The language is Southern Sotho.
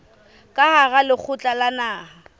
ka hara lekgotla la naha